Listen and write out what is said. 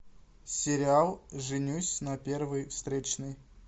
сериал женюсь на первой встречной